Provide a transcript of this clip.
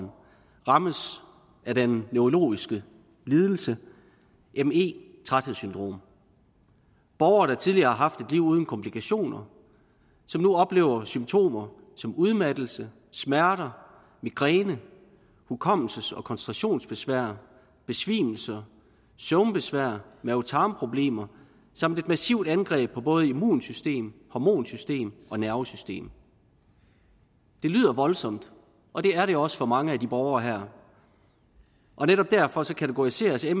rammes af den neurologiske lidelse me træthedssyndrom borgere der tidligere har haft et liv uden komplikationer oplever nu symptomer som udmattelse smerter migræne hukommelses og koncentrationsbesvær besvimelser søvnbesvær mave tarmproblemer samt et massivt angreb på både immunsystem hormonsystem og nervesystem det lyder voldsomt og det er det også for mange af de borgere her og netop derfor kategoriseres me